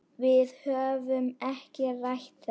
Við höfum ekki rætt þetta.